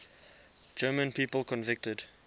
german people convicted